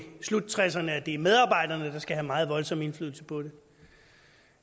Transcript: sluttresserne at det er medarbejderne der skal have meget voldsom indflydelse på det